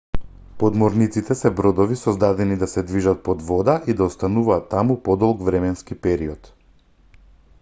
подморниците се бродови создадени да се движат под вода и да остануваат таму подолг временски период